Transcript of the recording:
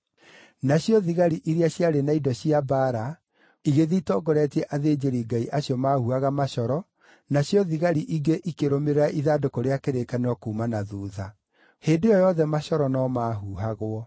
Nacio thigari iria ciarĩ na indo cia mbaara igĩthiĩ itongoretie athĩnjĩri-Ngai acio maahuhaga macoro, nacio thigari ingĩ ikĩrũmĩrĩra ithandũkũ rĩa kĩrĩkanĩro kuuma na thuutha. Hĩndĩ ĩyo yothe macoro no maahuhagwo.